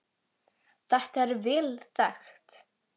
Þetta er vel þekkt.